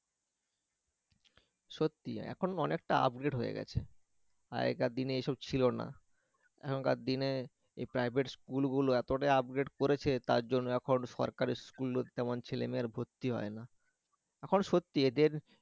সত্যি এখন অনেকটা upgrade হয়ে গেছে আগেকার দিনে এসব ছিল না এখনকার দিনে এ private school গুলো এতটাই upgrade করেছে তার জন্য এখন সরকারি school গুলোতে তেমন ছেলেমেয়েরা ভর্তি হয় না এখন সত্যিই এদের